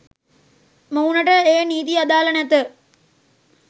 මොවුනට ඒ නීති අදාළ නැත